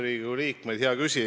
Riigikogu liikmed!